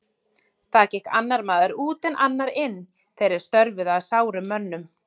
Þar gekk annar maður út, en annar inn, þeir er störfuðu að sárum mönnum.